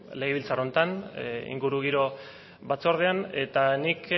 legebiltzar honetan ingurugiro batzordean eta nik